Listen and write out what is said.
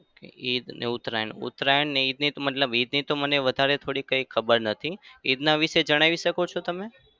ઈદ અને ઉતરાયણ ઉતરાયણ નઈ ઈદ ઈદની તો મને વધારે તો કઈ ખબર નથી. ઈદના વિશે જણાવી શકો છો તમે?